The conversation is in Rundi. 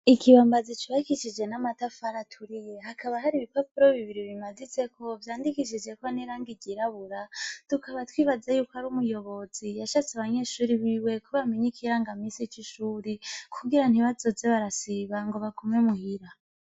Ikibambazi cubakishije n'amatafari aturiye hakaba hari ibipapuro bibiri bimaditseko vyanditseko n'irangi ryirabura tukaba twibaza yuko ari umuyobozi yashatse ko abanyeshuri biwe bamenya ikiranga minsi c'ishuri kugira ntibazoze barasiba ngo bagume muhira.